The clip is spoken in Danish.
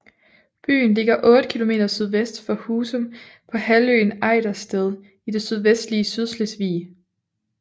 Byen ligger 8 kilometer sydvest for Husum på halvøen Ejdersted i det sydvestlige Sydslesvig